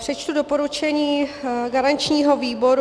Přečtu doporučení garančního výboru.